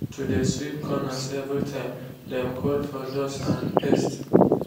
to de sweep corners everytime- dem called fur dust and pest.